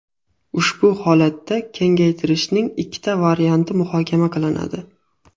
Ushbu holatda kengaytirishning ikkita varianti muhokama qilinadi.